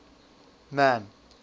man